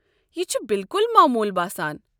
یہِ چھُ بِلکُل موموٗل باسان۔